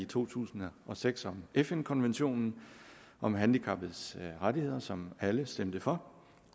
to tusind og seks om fn konventionen om handicappedes rettigheder som alle stemte for